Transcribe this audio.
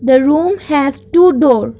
the room has two door.